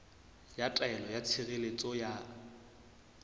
ya taelo ya tshireletso ya